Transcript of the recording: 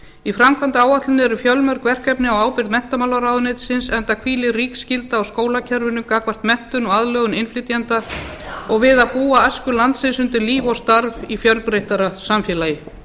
í framkvæmdaáætluninni eru fjölmörg verkefni á ábyrgð menntamálaráðuneytisins enda hvílir rík skylda á skólakerfinu gagnvart menntun og aðlögun innflytjenda og við að búa æsku landsins undir líf og starf í fjölbreyttara samfélagi